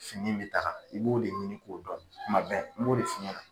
Fini min bɛ daga i b'o de ɲini k'o dɔn kuma bɛɛ n b'o de f'i ɲɛna.